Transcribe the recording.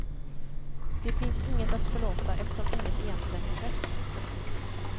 Det finns inget att förlåta eftersom inget egentligen har skett. punkt